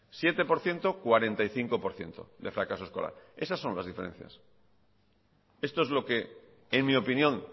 siete por ciento cuarenta y cinco por ciento de fracaso escolar esas son las diferencias esto es lo que en mi opinión